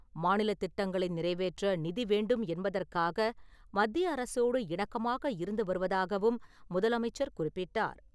மாநிலத் திட்டங்களை நிறைவேற்ற நிதி வேண்டும் என்பதற்காக மத்திய அரசோடு இணக்கமாக இருந்து வருவதாகவும் முதலமைச்சர் குறிப்பிட்டார்.